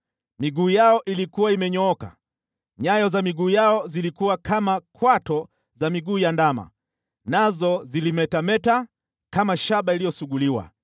Miguu yao ilikuwa imenyooka, nyayo za miguu yao zilikuwa kama kwato za miguu ya ndama, nazo zilimetameta kama shaba iliyosuguliwa.